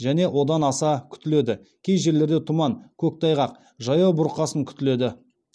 және одан аса күтіледі кей жерлерде тұман көктайғақ жаяу бұрқасын күтіледі